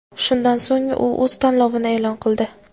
Shundan so‘ng u o‘z tanlovini e’lon qildi.